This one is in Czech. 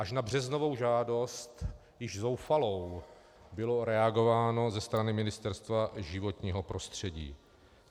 Až na březnovou žádost, již zoufalou, bylo reagováno ze strany Ministerstva životního prostředí.